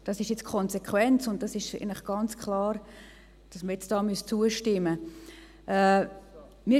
Dies ist jetzt die Konsequenz, und es ist ganz klar, dass man hier jetzt zustimmen müsste.